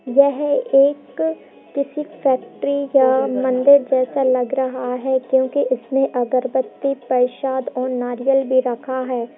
यह एक किसी फैक्ट्री या मंदिर जैसा लग रह है क्यूंकि उसमे अगरबत्ती प्रसाद और नारियल भी रखा है |